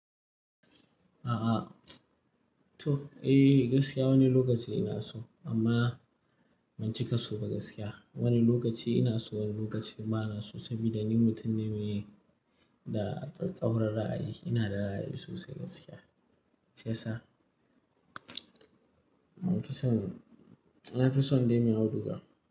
A'a, to eh gaskiya wani lokaci ina so amma ban cika so ba gaskiya. Wani lokaci ina so wani lokaci bana so saboda ni mutum ne me da tsattsauran ra'ayi. Ina da ra'ayi sosai gaskiya, shiyasa. Na fi son, na fi son dai mai auduga.